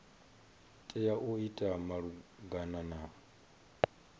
tea u ita malugana na